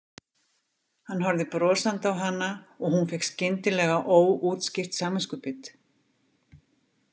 Hann horfði brosandi á hana og hún fékk skyndilega óútskýrt samviskubit.